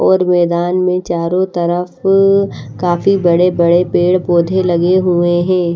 और मैदान में चारों तरफ काफी बड़े बड़े पेड़ पौधे लगे हुए हैं।